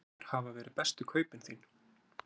Hver hafa verið bestu kaupin þín?